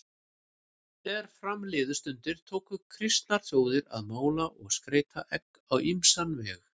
Er fram liðu stundir tóku kristnar þjóðir að mála og skreyta egg á ýmsan veg.